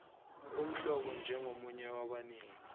umhlomulo njengomunye wabanini